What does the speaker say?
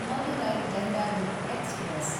Madurai Dehradun express